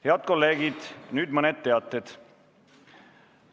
Head kolleegid, nüüd mõned teated.